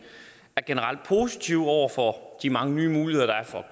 er generelt positiv over for de mange nye muligheder der er for